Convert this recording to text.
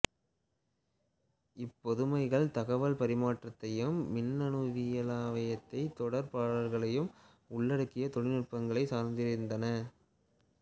இப்பொதுமைகள் தகவல் பரிமாற்றத்தையும் மின்னணுவியலானத் தொடர்பாடல்களையும் உள்ளடக்கிய தொழிநுட்பங்களைச் சார்ந்திருந்தன